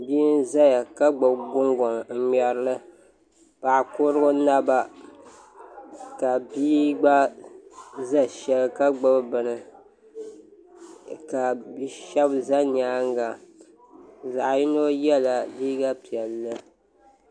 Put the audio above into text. Bia n ʒɛya ka gbubi kunkoŋ n ŋmɛrili paɣa kurili naba ka nia gba ʒɛ shɛli ka gbubi bini ka bi shab ʒɛ nyaanga zaɣ yino yɛla liiga piɛlli